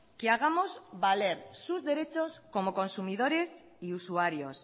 que hagamos valer sus derechos como consumidores y usuarios